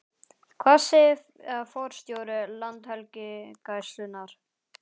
Hvað segir forstjóri Landhelgisgæslunnar?